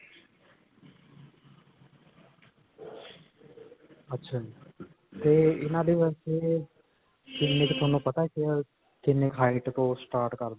ਅੱਛਾ ਜੀ. ਤੇ ਇਨ੍ਹਾਂ ਦੇ ਵਾਸਤੇ ਕਿੰਨੀ ਕ ਤੁਹਾਨੂੰ ਪਤਾ ਹੈ ਕਿੰਨੀ ਕ height ਤੋ start ਕਰਦੇ ਨੇ?